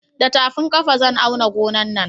Da tafin ƙafa zan auna gonan nan